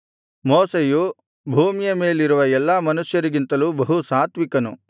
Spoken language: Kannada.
ಮೋಶೆಯು ಭೂಮಿಯ ಮೇಲಿರುವ ಎಲ್ಲಾ ಮನುಷ್ಯರಿಗಿಂತಲೂ ಬಹು ಸಾತ್ವಿಕನು